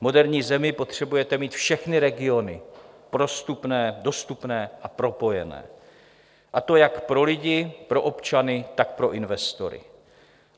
V moderní zemi potřebujete mít všechny regiony prostupné, dostupné a propojené, a to jak pro lidi, pro občany, tak pro investory.